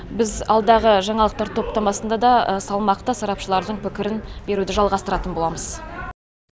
біз алдағы жаңалықтар топтамасында да салмақты сарапшылардың пікірін беруді жалғастыратын боламыз